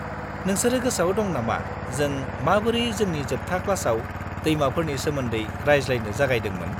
-नोंसोरो गोसोआव दं नामा जों माबोरै जोंनि जोबथा क्लासाव दैमाफोरनि सोमोन्दै रायज्लायनो जागायदोंमोन?